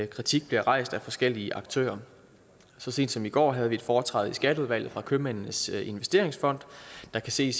kritik bliver rejst af forskellige aktører så sent som i går havde vi et foretræde i skatteudvalget fra købmændenes investeringsfond der kan se